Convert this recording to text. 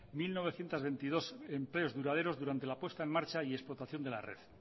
mil novecientos veintidós empleos duraderos durante la puesta en marcha y explotación de la red